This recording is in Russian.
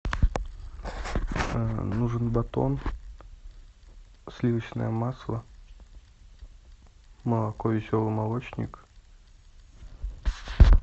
нужен батон сливочное масло молоко веселый молочник